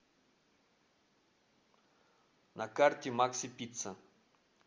на карте макси пицца